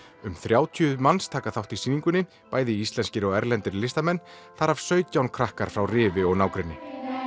um þrjátíu manns taka þátt í sýningunni bæði íslenskir og erlendir listamenn þar af sautján krakkar frá Rifi og nágrenni